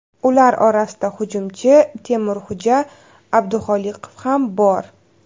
Ular orasida hujumchi Temurxo‘ja Abduxoliqov ham bor.